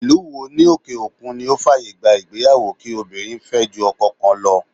Ìlú wo ní òkè òkun ni ó fàyè gba ìgbéyàwó kí obìnrin fẹ́ ju ọkọ kan lọ.